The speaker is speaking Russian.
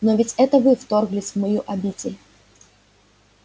но ведь это вы вторглись в мою обитель